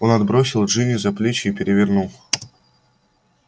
он отбросил джинни за плечи и перевернул